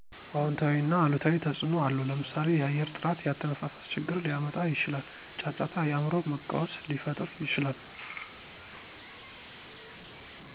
አውንታዊና አሉታዊ ተፅዕኖ አለው ለምሳሌ የአየር ጥራት የአተነፋፈስ ችግር ሊያመጣ ይችላል። ጫጫታ የአእምሮ መቃወስ ሊፈጥር ይችላል።